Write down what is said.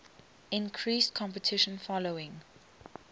increased competition following